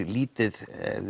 lítið